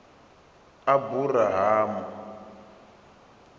aburahamu